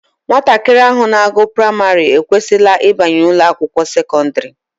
Nwatakịrị ahụ na-agụ praịmarị ekwesịla ịbanye ụlọakwụkwọ sekọndịrị